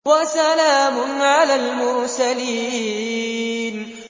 وَسَلَامٌ عَلَى الْمُرْسَلِينَ